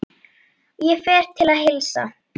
Ég fer til að heilsa.